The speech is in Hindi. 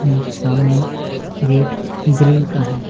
सामने गेट ग्रिल का है।